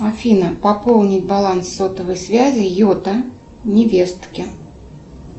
афина пополнить баланс сотовой связи йота невестке